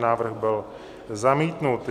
Návrh byl zamítnut.